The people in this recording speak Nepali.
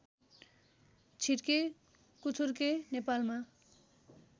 छिर्के कुथुर्के नेपालमा